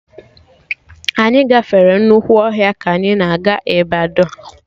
Anyị gafere nnukwu ọhịa ka anyị na-eje Ịbadọ